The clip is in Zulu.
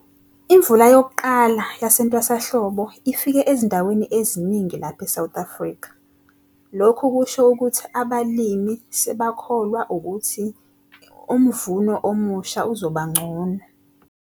Imvula yokuqala yasentwasahlobo ifike ezindaweni eziningi lapha eSouth Afrika. Lokhu kusho ukuthi abalimi sebakholwa ukuthi umvuno omusha uzobangcono.